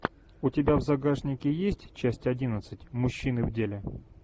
у тебя в загажнике есть часть одиннадцать мужчины в деле